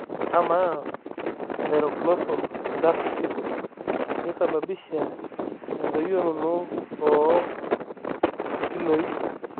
Amaa thyroglossal duct cysts keisababisha endoyioroto oo Nkilooi?